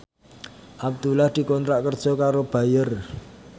Abdullah dikontrak kerja karo Bayer